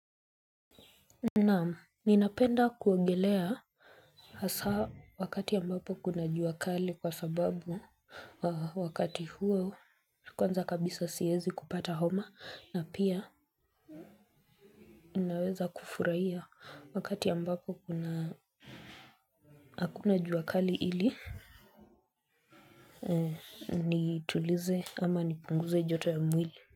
Nam ninapenda kuogelea hasa wakati ambapo kuna jua kali kwa sababu wakati huo kwanza kabisa siwezi kupata homa na pia ninaweza kufurahia wakati ambapo kuna hakuna juakali ili nitulize ama nipunguze joto ya mwili.